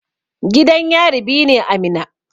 Gidan yari biyu ne a Minna.